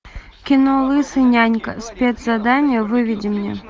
кино лысый нянька спецзадание выведи мне